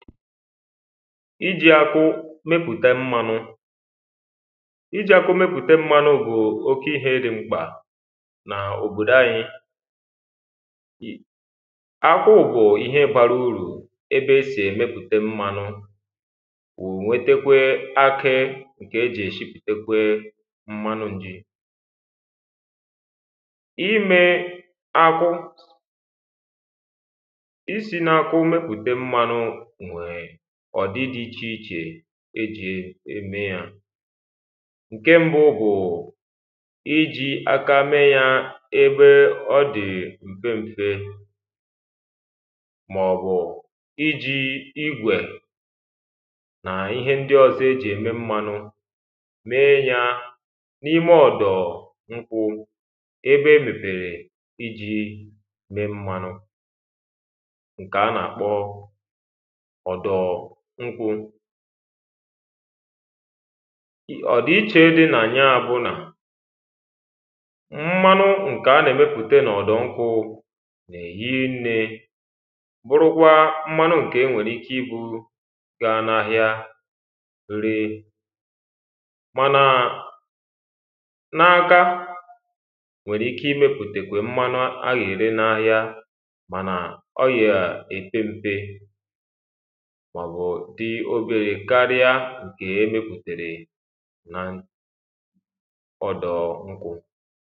ijī akwụ mepùta mmānụ̄ ijī akwụ mepụ̀ta mmānụ̄ bụ oke íhē dị mkpà n’òbòdó anyị akwụ bu̩ ihe bara urù ebe e sì èmepùte mmānụ̄ ụ̀ nwetekwe akị ṅ̀kè e ji èsipùtekwe mmanụ̣ njī imē ákwụ isī n'akwụ mepùte mmānụ̄ nwèè ọ̀dị dị ichè ichè e jì ème yā ǹke m̄bụ̣̄ bụ̀ i jī aka me yā ebe ọ dị̀ m̀fem̄fē màọ̀bụ̀ ijī igwè nà ihe ndị ọzọ e jì ème mmānụ̄ mee yā n’ime ọ̀dọ̀ ṅkwụ̄ ebe e mèpèrè ijī mē mmānụ̄ ṅ̀kè a nà- àkpọ ọ̀dọ̀ ṅkwụ̄ ị ọ̀dị̀ichè dị nà ya bụ nà mmanụ ṅkè a nà-èmepùte n’ọ̀dọ̀ nkwụ̄ nà-èhi nnē bụrụkwa mmanụ ṅ̀kè e nwèrè ike ibū gaa n’ahịa ree mànà n’aaka nwèrè ike imēpùtèkwè mmanụ a yè-ère n’ahịa mànà ọ yà èpe m̄pē màọ̀bụ̀ dị oberē karịa na ọ̀dọ̀ ṅkwụ̄